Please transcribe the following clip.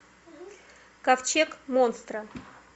ковчег монстра